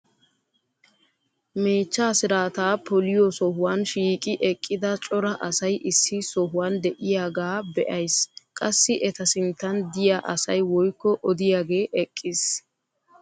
meechchaa siraataa poliyo sohuwan shiiqi eqqida cora asay issi sohuwan diyagaa be'ays. qassi eta sinttan diya asay woykko oddiyaagee eqqiisn